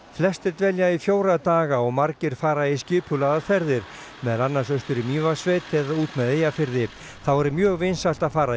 flestir dvelja í fjóra daga og margir fara í skipulagðar ferðir meðal annars austur í Mývatnssveit eða út með Eyjafirði þá er mjög vinsælt að fara í